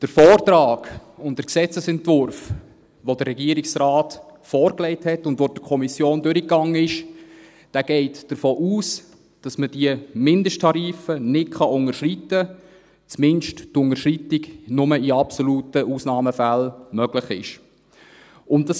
Der Vortrag und der Gesetzesentwurf, die der Regierungsrat vorgelegt hat und die durch die Kommission gegangen sind, gehen davon aus, dass man die Mindesttarife nicht unterschreiten kann oder dass die Unterschreitung zumindest nur in absoluten Ausnahmefällen möglich ist.